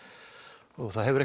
og það hefur